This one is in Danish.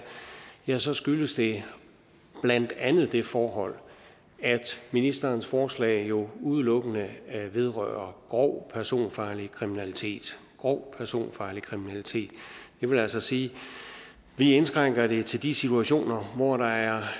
ja så skyldes det blandt andet det forhold at ministerens forslag jo udelukkende vedrører grov personfarlig kriminalitet grov personfarlig kriminalitet det vil altså sige at vi indskrænker det til de situationer hvor der er